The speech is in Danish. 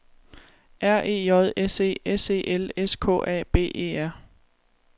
R E J S E S E L S K A B E R